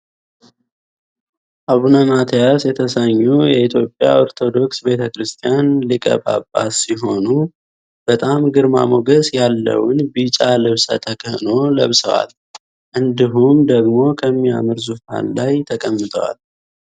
አቡነ ማትያስ የተሰኘው የኢትዮጵያ ኦርቶዶክስ ቤተክርስቲያን ሊቀ ጳጳስ ሲሆኑ በጣም ግርማ ሞገስ ያለውን ቢጫ ልብሰ ተክህኖ ልብሰዋል። እንዲሁም ደግሞ ከሚያምር ዙፋን ላይ ተቀምጠዋል።